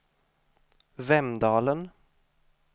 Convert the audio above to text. Vemdalen